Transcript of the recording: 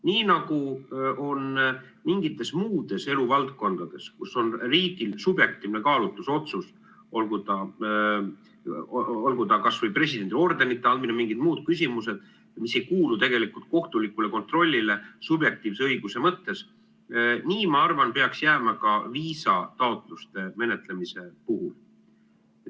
Nii nagu on mingites muudes eluvaldkondades, kus on riigil subjektiivne kaalutlusotsus, olgu ta kasvõi presidendi ordenite andmine või mingid muud küsimused, mis ei kuulu kohtulikule kontrollile subjektiivse õiguse mõttes, nii, ma arvan, peaks jääma ka viisataotluste menetlemise puhul.